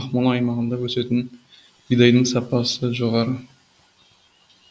ақмола аймағында өсетін бидайдың сапасы жоғары